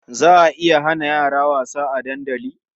Za a iya hana yara wasa a dandali.